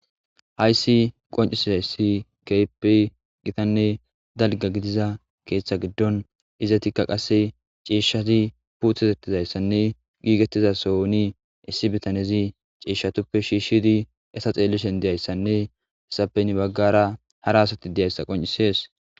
hayssi qoncisizayssi keype gitanne dalga gidiza keeththa giddon izatikka qasse ceeshshati puuthetettizayssanne giigettizasoni issi bitanezi ceeshshatuppe shiishshidi esa xeellishen deyayssanne hesapeni baggara hara asati deyayssa qoncisees